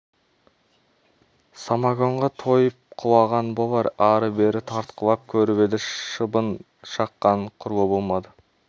самогонға тойып құлаған болар ары-бері тартқылап көріп еді шыбын шаққан құрлы болмады